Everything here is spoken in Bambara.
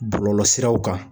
Bɔlɔlɔsiraw kan